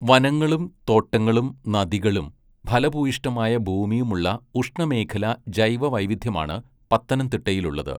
വനങ്ങളും തോട്ടങ്ങളും നദികളും ഫലഭൂയിഷ്ഠമായ ഭൂമിയും ഉള്ള ഉഷ്ണമേഖലാ ജൈവവൈവിധ്യമാണ് പത്തനംതിട്ടയിലുള്ളത്.